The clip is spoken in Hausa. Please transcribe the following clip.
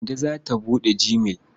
Kande za ta buɗe gmail.